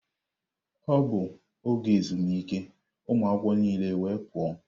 Ọ bụ oge ezumike, ụmụ akwụkwọ niile wee pụọ.